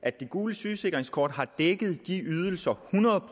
at det gule sygesikringskort hidtil har dækket de ydelser hundrede